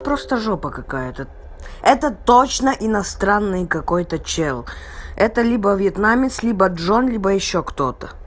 просто жопа какая-то это точно иностранный какой-то чел это либо вьетнамец либо джон либо ещё кто-то